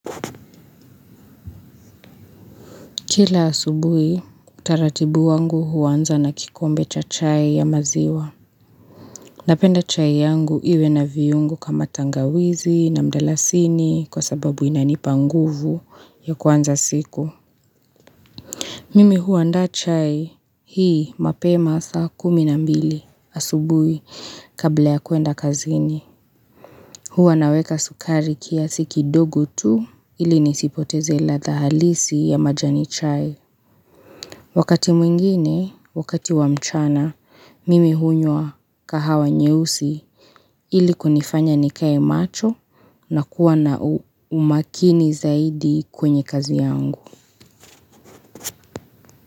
Kila asubuhi, utaratibu wangu huanza na kikombe cha chai ya maziwa. Napenda chai yangu iwe na viungo kama tangawizi na mdalasini kwa sababu inanipa nguvu ya kuanza siku. Mimi huandaa chai hii mapema saa kumi na mbili asubuhi kabla ya kuenda kazini. Huwa naweka sukari kiasi kidogo tu ili nisipoteze ladha halisi ya majani chai. Wakati mwingine, wakati wa mchana, mimi hunywa kahawa nyeusi ili kunifanya nikae macho na kuwa na umakini zaidi kwenye kazi yangu.